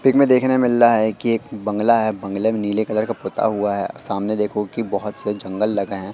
में देखने में मिल रहा है कि एक बंगला है बंग्ले में नीले कलर का पोता हुआ है सामने देखो की बहोत से जंगल लगे हैं।